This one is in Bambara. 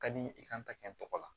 Ka di n ye i kan ka kɛ n tɔgɔ la